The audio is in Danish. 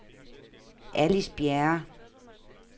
Alice Bjerre